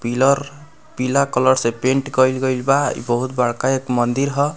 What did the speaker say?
Pillar पीला colour से paint कइल गइल बा इ बहुत बड़का एक मंदिर ह।